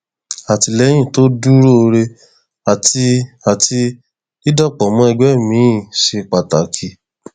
àtìlẹyìn tó dúróore àti àti dídàpọ mọ ẹgbẹ miín ṣe pàtàkì